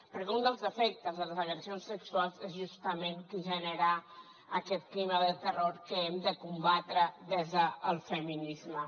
perquè un dels efectes de les agressions sexuals és justament que genera aquest clima de terror que hem de combatre des del feminisme